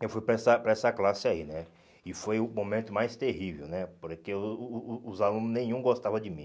eu fui para essa para essa classe aí, né, e foi o momento mais terrível, né, porque o o o os alunos nenhum gostava de mim.